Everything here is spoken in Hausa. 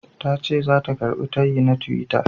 Tace zata karɓi tayina na tiwita.